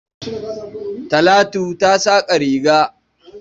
Talatu ta saƙa riga.